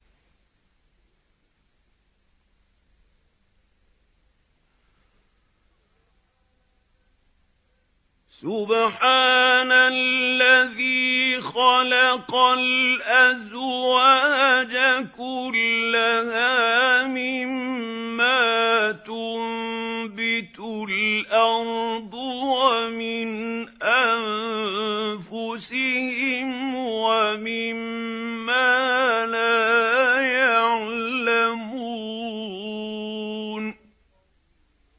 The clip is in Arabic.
سُبْحَانَ الَّذِي خَلَقَ الْأَزْوَاجَ كُلَّهَا مِمَّا تُنبِتُ الْأَرْضُ وَمِنْ أَنفُسِهِمْ وَمِمَّا لَا يَعْلَمُونَ